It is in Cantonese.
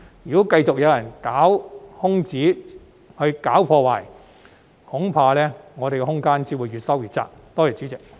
如果繼續有人鑽空子、搞破壞，恐怕我們的空間只會越收越窄。